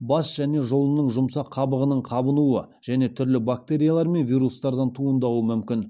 бас және жұлынның жұмсақ қабығының қабынуы және түрлі бактериялар мен вирустардан туындауы мүмкін